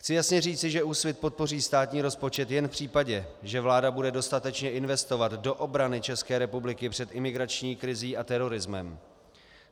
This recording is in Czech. Chci jasně říci, že Úsvit podpoří státní rozpočet jen v případě, že vláda bude dostatečně investovat do obrany České republiky před imigrační krizí a terorismem.